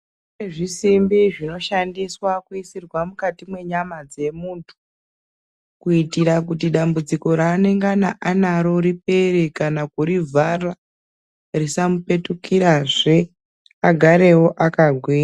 ...nezvisimbi zvinoshandiswa kuisirwa mukati mwenyama dzemuntu kuitira kuti dambudziko raanengana anaro ripere kana kurivhara, risamupetukirazve agarewo akagwi,,,